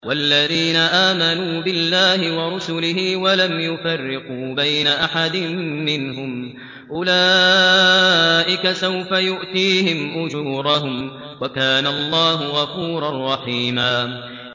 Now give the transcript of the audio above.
وَالَّذِينَ آمَنُوا بِاللَّهِ وَرُسُلِهِ وَلَمْ يُفَرِّقُوا بَيْنَ أَحَدٍ مِّنْهُمْ أُولَٰئِكَ سَوْفَ يُؤْتِيهِمْ أُجُورَهُمْ ۗ وَكَانَ اللَّهُ غَفُورًا رَّحِيمًا